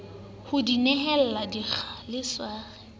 ho ya dihela dikgala sware